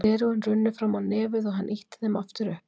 Gleraugun runnu fram á nefið og hann ýtti þeim aftur upp.